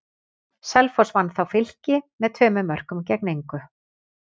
Selfoss vann þá Fylki með tveimur mörkum gegn engu.